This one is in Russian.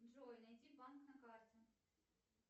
джой найди банк на карте